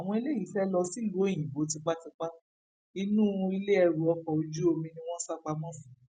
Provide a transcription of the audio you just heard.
àwọn eléyìí fẹẹ lọ sílùú òyìnbó tipátipá inú ilé ẹrù ọkọ ojú omi ni wọn sá pamọ sí